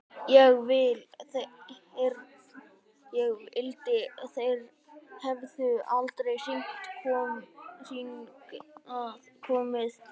Ég vildi þeir hefðu aldrei hingað komið.